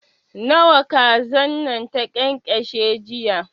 Nawa kazan nan ta ƙyanƙyashe jiya?